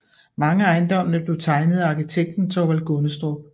Mange af ejendommene blev tegnet af arkitekten Thorvald Gundestrup